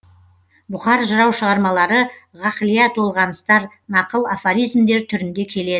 бұқар жырау шығармалары ғақлия толғаныстар нақыл афоризмдер түрінде келеді